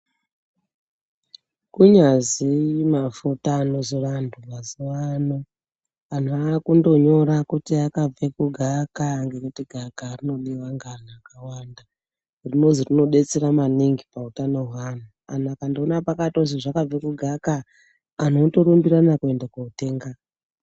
Kunyazi mafuta anozora antu mazuvano antu akundonyore kuti akabva kugavakava ngekuti gavakava rinodiwa ngeantu akawanda rinozi rinodetsera maningi pautano hweantu, antu akandoona pakatozi zvakabve kugavakava antu otorumbirana kuende kotenga.